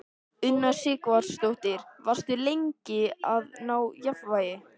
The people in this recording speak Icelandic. Una Sighvatsdóttir: Varstu lengi að ná jafnvægi?